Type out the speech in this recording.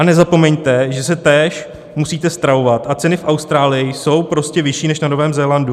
A nezapomeňte, že se též musíte stravovat, a ceny v Austrálii jsou prostě vyšší než na Novém Zélandu.